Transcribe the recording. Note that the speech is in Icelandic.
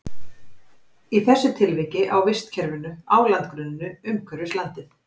Í þessu tilviki á vistkerfinu á landgrunninu umhverfis landið.